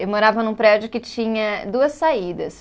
Eu morava num prédio que tinha duas saídas.